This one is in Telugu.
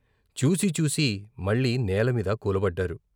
చూసి చూసి మళ్ళీ నేలమీద కూలబడ్డారు.